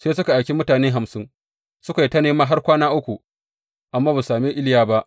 Sai suka aiki mutane hamsin, suka yi ta nema har kwana uku amma ba su same Iliya ba.